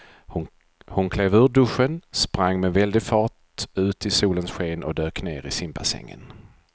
Hon klev ur duschen, sprang med väldig fart ut i solens sken och dök ner i simbassängen.